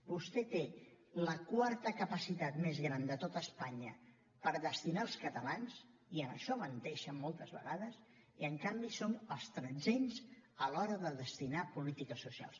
vostè té la quarta capacitat més gran de tot espanya per destinar als catalans i en això menteixen moltes vegades i en canvi són els tretzens a l’hora de destinar a polítiques socials